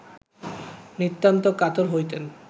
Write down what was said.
নিতান্ত কাতর হইতেন